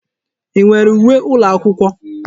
I nwere uwe ụlọakwụkwọ?